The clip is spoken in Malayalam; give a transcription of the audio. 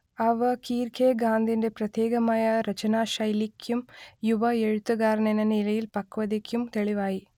അവ കീർക്കെഗാഡിന്റെ പ്രത്യേകമായ രചനാശൈലിക്കും യുവ എഴുത്തുകാരനെന്ന നിലയിലെ പക്വതക്കും തെളിവായി